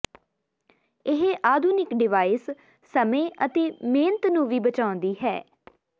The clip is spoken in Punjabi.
ਇਹ ਆਧੁਨਿਕ ਡਿਵਾਈਸ ਸਮੇਂ ਅਤੇ ਮਿਹਨਤ ਨੂੰ ਵੀ ਬਚਾਉਂਦੀ ਹੈ